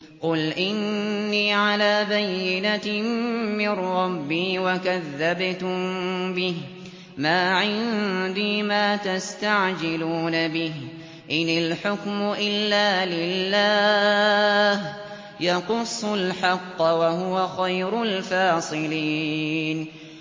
قُلْ إِنِّي عَلَىٰ بَيِّنَةٍ مِّن رَّبِّي وَكَذَّبْتُم بِهِ ۚ مَا عِندِي مَا تَسْتَعْجِلُونَ بِهِ ۚ إِنِ الْحُكْمُ إِلَّا لِلَّهِ ۖ يَقُصُّ الْحَقَّ ۖ وَهُوَ خَيْرُ الْفَاصِلِينَ